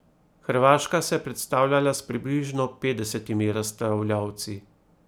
Hrvaška se je predstavljala s približno petdesetimi razstavljavci.